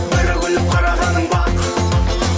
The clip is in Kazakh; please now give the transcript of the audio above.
бір күліп қарағаның бақ